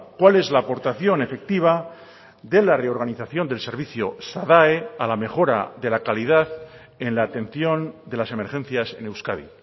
cuál es la aportación efectiva de la reorganización del servicio sadae a la mejora de la calidad en la atención de las emergencias en euskadi